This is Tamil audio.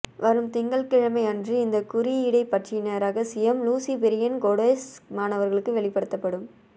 வரும் திங்கள் கிழமை அன்று இந்த குறியீடை பற்றின இரகசியம் லூசிபெரியன் கோடெஸ் மாணவர்களுக்கு வெளிப்படுத்த படும்